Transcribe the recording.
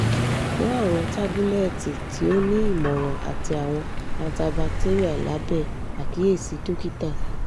mu awọn tabulẹti ti o ni imọran ati awọn antibacterial labẹ akiyesi dokita